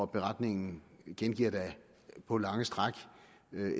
beretningen gengiver på lange stræk